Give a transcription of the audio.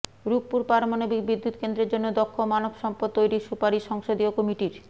রূপপুর পারমাণবিক বিদ্যুৎকেন্দ্রের জন্য দক্ষ মানবসম্পদ তৈরির সুপারিশ সংসদীয় কমিটির